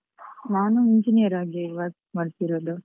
ನಾನು Engineer ಆಗಿ work ಮಾಡ್ತಿರುದು.